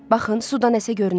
Baxın, suda nəsə görünür.